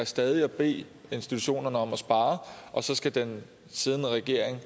stadig at bede institutionerne om at spare og så skal den siddende regering